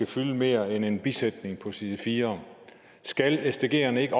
fylde mere end en bisætning på side fjerde skal sdgerne ikke